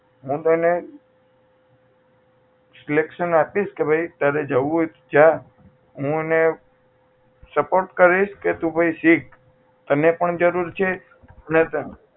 હું તેને selection આપીશ કે તારે જવું હોય તો જા હું એને support કરીશ કે ભાઈ તું શીખ તને પણ જરૂર છે ને તારા